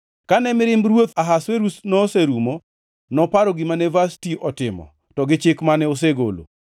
Kane mirimb ruoth Ahasuerus noserumo, noparo gima ne Vashti otimo, to gi chik mane osegolo.